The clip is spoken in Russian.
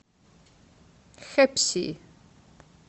хэпси